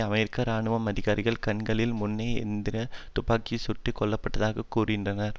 அமெரிக்க இராணுவ அதிகாரிகள் கண்களின் முன்னே எந்திரத் துப்பாக்கிகளால் சுட்டு கொல்லப்பட்டதாகக் கூறினார்